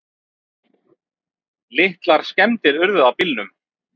Litlar skemmdir urðu á bílnum.